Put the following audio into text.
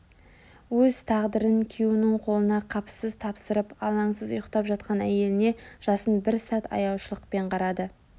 Өз тағдырын күйеуінің қолына қапысыз тапсырып алаңсыз ұйықтап жатқан әйеліне жасын бір сәт аяушылықпен қарады